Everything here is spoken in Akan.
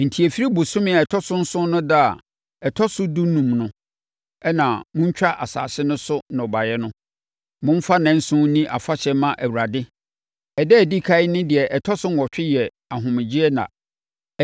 “ ‘Enti ɛfiri bosome a ɛtɔ so nson no ɛda a ɔtɔ so dunum no a moatwa asase no so nnɔbaeɛ no, momfa nnanson nni afahyɛ mma Awurade. Ɛda a ɛdi ɛkan ne deɛ ɛtɔ so nnwɔtwe yɛ ahomegyeɛ nna.